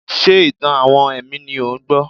Ṣé ìtàn-àwọn ẹ̀mí ni ò ń gbọ́?